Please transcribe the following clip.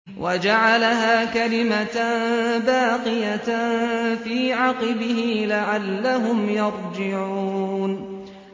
وَجَعَلَهَا كَلِمَةً بَاقِيَةً فِي عَقِبِهِ لَعَلَّهُمْ يَرْجِعُونَ